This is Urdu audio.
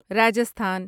راجستھان